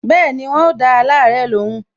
Bẹẹni, wọn o da awon alare lóhùn